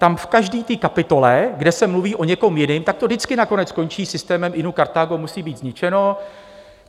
Tam v každé té kapitole, kde se mluví o někom jiném, tak to vždycky nakonec skončí systémem: Inu, Kartágo musí být zničeno.